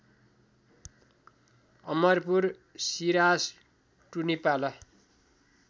अमरपुर सिरास टुनिपाला